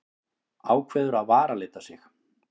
Ákveður að varalita sig.